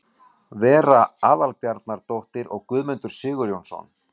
Vera Aðalbjarnardóttir og Guðmundur Sigurjónsson.